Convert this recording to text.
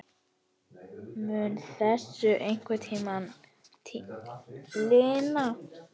Mun þessu einhvern tímann linna?